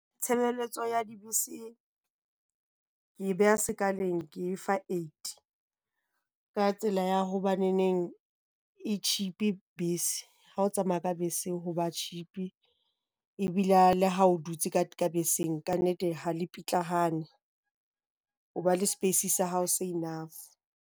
Tshebeletso ya dibese ke e beha sekaleng ke e fa eight. Ka tsela ya hobaneneng e cheap-e bese. Ha o tsamaya ka bese ho ba cheap-e, ebile le ha o dutse ka beseng kannete ha le pitlahane. O ba le space sa hao se enough.